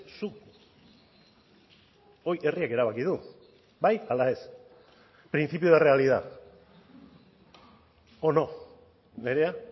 zuk hori herriak erabaki du bai ala ez principio de realidad o no nerea